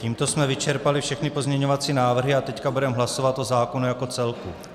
Tímto jsme vyčerpali všechny pozměňovací návrhy a teď budeme hlasovat o zákonu jako celku.